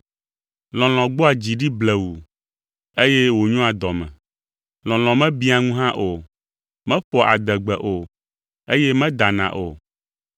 Lɔlɔ̃ gbɔa dzi ɖi blewuu, eye wònyoa dɔme. Lɔlɔ̃ mebiã ŋu hã o; meƒoa adegbe o, eye medana o.